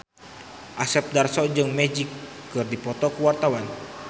Asep Darso jeung Magic keur dipoto ku wartawan